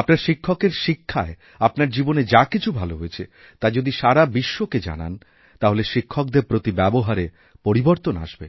আপনার শিক্ষকের শিক্ষায় আপনার জীবনে যাকিছু ভাল হয়েছে তা যদি সারা বিশ্বকে জানান তাহলে শিক্ষকদের প্রতি ব্যবহারেপরিবর্তন আসবে